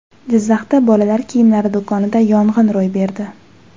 Jizzaxda bolalar kiyimlari do‘konida yong‘in ro‘y berdi.